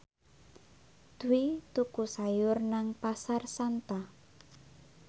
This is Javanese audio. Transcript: Dwi tuku sayur nang Pasar Santa